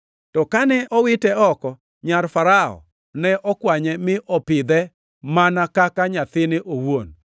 To kane owite oko, nyar Farao ne okwanye mi opidhe mana kaka nyathine owuon.